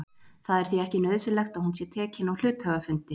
Það er því ekki nauðsynlegt að hún sé tekin á hluthafafundi.